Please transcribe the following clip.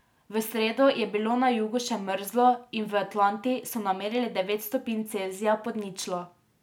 V sredo je bilo na jugu še mrzlo in v Atlanti so namerili devet stopinj Celzija pod ničlo.